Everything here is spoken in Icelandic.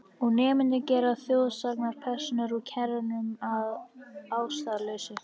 Og nemendur gera þjóðsagnapersónur úr kennurum að ástæðulausu.